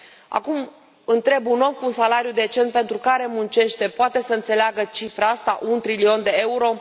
Acum întreb, un om cu un salariu decent pentru care muncește, poate să înțeleagă cifra asta un trilion de euro?